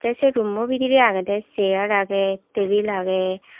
teh se room o bidire aage de chair aage tabil aage.